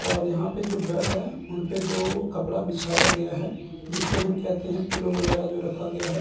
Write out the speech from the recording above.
और यहां पे जो बेड है उनपे जो कपड़ा बिछाया गया है जिसे हम कहते हैं पिलो वगैरा जो रखा गया है।